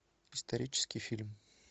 исторический фильм